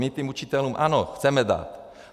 My těm učitelům, ano, chceme dát.